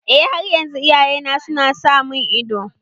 Eh, har yanzu iyayena su na sa mun ido